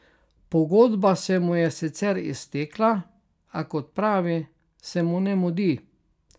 Pogodba se mu je sicer iztekla, a, kot pravi, se mu ne mudi.